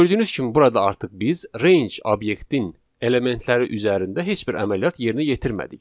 Gördüyünüz kimi burada artıq biz range obyektin elementləri üzərində heç bir əməliyyat yerinə yetirmədik.